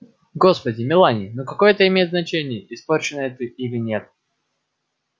господи мелани ну какое это имеет значение испорченная ты или нет